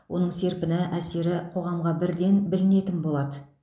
оның серпіні әсері қоғамға бірден білінетін болады